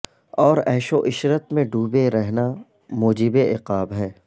اور عیش وعشرت میں ڈوبے رہنا موجب عقاب ہے